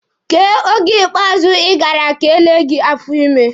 Kee oge ikpeazụ ị gara ka e lee gị afọ ime?